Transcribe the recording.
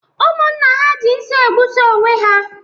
Ụmụnna ha ji nsị egbusisi onwe ha